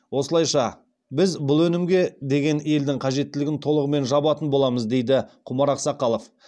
осылайша біз бұл өнімге деген елдің қажеттілігін толығымен жабатын боламыз дейді құмар ақсақалов